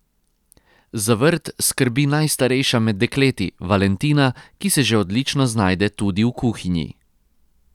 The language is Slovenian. Za vrt skrbi najstarejša med dekleti, Valentina, ki se že odlično znajde tudi v kuhinji.